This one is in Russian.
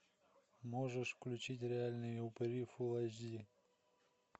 можешь включить реальные упыри фул эйч ди